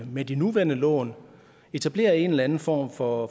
med de nuværende lån etablerede en eller anden form for